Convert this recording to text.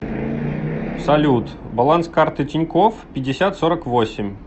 салют баланс карты тинькофф пятьдесят сорок восемь